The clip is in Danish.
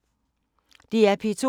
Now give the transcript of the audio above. DR P2